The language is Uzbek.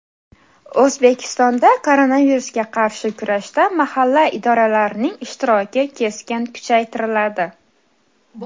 O‘zbekistonda koronavirusga qarshi kurashda mahalla idoralarining ishtiroki keskin kuchaytiriladi.